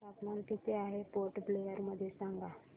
तापमान किती आहे पोर्ट ब्लेअर मध्ये मला सांगा